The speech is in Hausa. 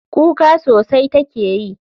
Kuka sosai take yi.